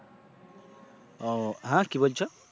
ও, হ্যাঁ কি বলছো?